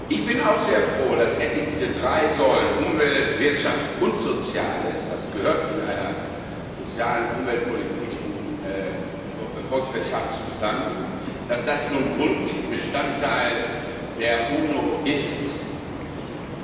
Ich bin auch sehr froh, dass endlich die drei Säulen Umwelt, Wirtschaft und Soziales das gehört in einer sozialen und umweltschutzorientierten Volkswirtschaft zusammen nun Grundbestandteile der UNO sind.